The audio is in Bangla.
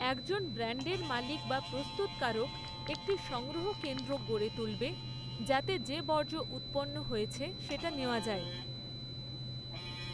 একজন ব্র্যান্ডের মালিক বা প্ৰস্তুতকারক একটি সংগ্রহ কেন্দ্র গড়ে তুলবে যাতে যে বর্জ্য উৎপন্ন হয়েছে সেটা নেওয়া যায়।